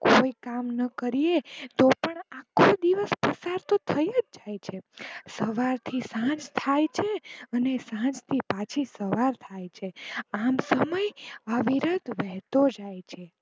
કોઈ કામ ના કરીયે તો પણ આખો દિવસ પસાર તો થઇ જ જાય છે સવાર થી સાંજ થાય છે સાંજ થી પાછીસવાર થાય છે આમ સમય અવિરત વેહ્તો જાય છે.